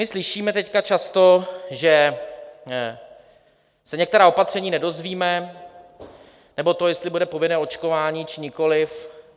My slyšíme teď často, že se některá opatření nedozvíme, nebo to, jestli bude povinné očkování, či nikoliv.